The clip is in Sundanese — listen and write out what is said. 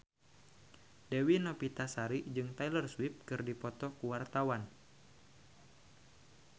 Dewi Novitasari jeung Taylor Swift keur dipoto ku wartawan